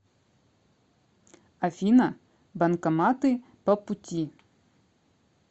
афина банкоматы по пути